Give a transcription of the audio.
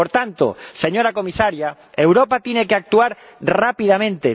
Por tanto, señora Comisaria, Europa tiene que actuar rápidamente.